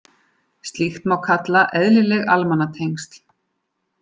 Slíkt má kalla eðlileg almannatengsl.